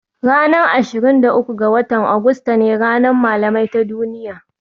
Ranar ashirin da uku ga wata Agusta ne Ranar Malamai ta Duniya